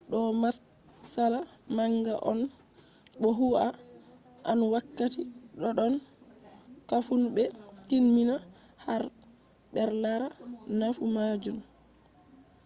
do matsala manga on bo hu an wakkati doddon kafun be tin mina har br lara nafu majun